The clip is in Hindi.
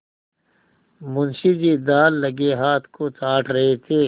मुंशी जी दाललगे हाथ को चाट रहे थे